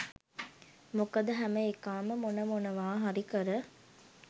මොකද හැම එකාම මොන මොනවා හරි කර